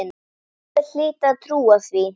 Einhver hlyti að trúa því.